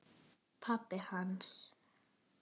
Pabbi hans?